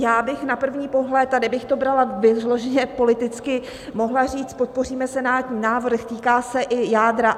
Já bych na první pohled, a kdybych to brala vyloženě politicky, mohla říct: podpoříme senátní návrh, týká se i jádra.